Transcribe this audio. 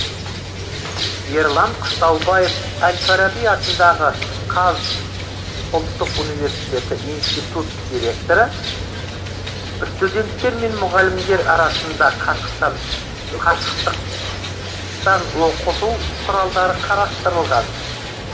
ерлан қыстаубаев әл фараби атындағы қаз ұлттық университеті институт директоры студенттер мен мұғалімдер арасында қашықтан оқыту құралдары қарастырылған